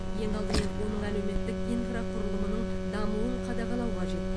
ең алдымен оның әлеуметтік инфрақұрылымының дамуын қадағалау қажет